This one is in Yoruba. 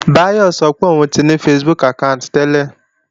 Báyọ̀ sọ pé òun ní Facebook àkáànti tẹ́lẹ̀